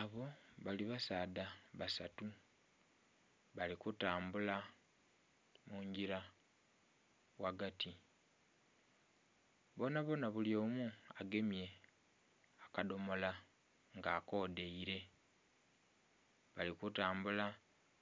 Abo bali basaadha basatu bali kutambula mungira ghagati bonabona buli omu agemye akadhomola nga akodhaire, bali kutambula